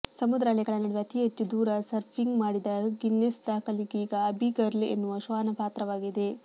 ಸಮುದ್ರ ಅಲೆಗಳ ನಡುವೆ ಅತಿ ಹೆಚ್ಚು ದೂರ ಸರ್ಫಿಂಗ್ ಮಾಡಿದ ಗಿನ್ನೆಸ್ ದಾಖಲೆಗೀಗ ಅಬಿ ಗರ್ಲ್ ಎನ್ನುವ ಶ್ವಾನ ಪಾತ್ರವಾಗಿದೆ